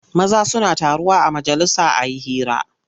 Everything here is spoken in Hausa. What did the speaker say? Maza suna taruwa a majalisa a yi hira.